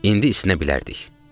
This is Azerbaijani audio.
İndi isinə bilərdik.